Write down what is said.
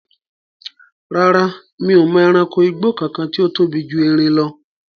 Rárá, mi ò mọ ẹranko igbó kankan tí ó tóbi ju erin lọ